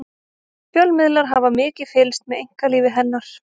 fjölmiðlar hafa mikið fylgst með einkalífi hennar